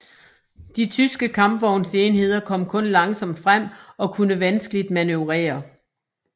De tyske kampvognsenheder kom kun langsomt frem og kunne vanskeligt manøvrere